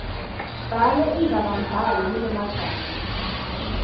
bhala indzabambhalo lenemagama